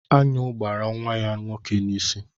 Aṅụ gbara nwa ya nwoke n'isi.